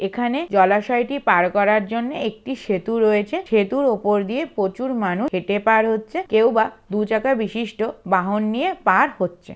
এখানে জলাশয় টি পার করার জন্য একটি সেতু রয়েছে। সেতুর ওপর দিয়ে প্রচুর মানুষ হেঁটে পার হচ্ছে। কেউ বা দু চাকা বিশিষ্ট বাহন নিয়ে পার হচ্ছে ।